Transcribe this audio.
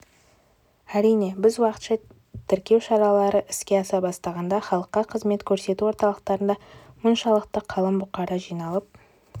әрине біз уақытша тіркеу шаралары іске аса бастағанда халыққа қызмет көрсету орталықтарында мұншалықты қалың бұқара жиналып